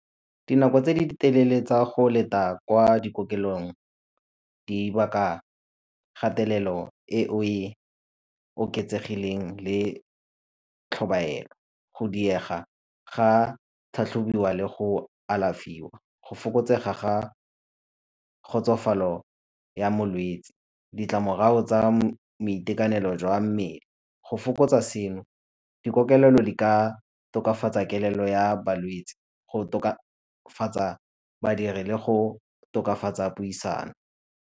Dinako tse di telele tsa go leta kwa dikokelong di baka kgatelelo e o e oketsegileng le tlhobaelo. Go diega ga tlhatlhobiwa le go alafiwa, go fokotsega ga kgotsofalo ya molwetsi, ditlamorago tsa boitekanelo jwa mmele. Go fokotsa seno, dikokelelo di ka tokafatsa kelello ya balwetsi, go tokafatsa badiri le go tokafatsa puisano.